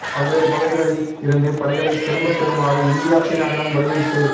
பல்வேறு பகுதிகளில் இருந்து படைகளை திரும்பப் பெறுமாறு இந்தியா சீனாவிடம் வலியுறுத்து